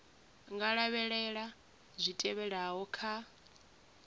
nga lavhelela zwi tevhelaho kha